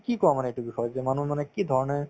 কি কোৱা মানে এইটো বিষয়ত যে মানুহে মানে কি ধৰণে